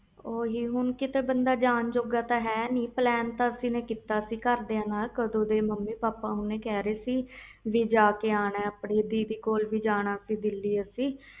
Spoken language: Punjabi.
ਹੁਣ ਕੀਤੇ ਬੰਦਾ ਜਾਨ ਜੋਗਾ ਨਹੀਂ plan ਕੀਤਾ ਸੀ ਦੀਦੀ ਕੋਲ ਜਾਨ ਦਾ ਦਿੱਲੀ ਮਾਮੀ ਪਾਪਾ ਕਹਿ ਰਹੇ ਸੀ